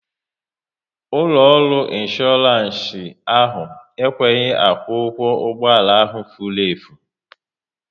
Ụlọ ọrụ insooransi ahụ ekweghị akwụ ụgwọ ụgbọala ahụ furu efu